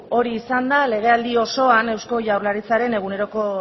hori izan da legealdi osoan eusko jaurlaritzaren eguneroko